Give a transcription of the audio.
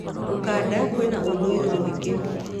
Ukunda kwĩna ũndũorw mwĩingĩ.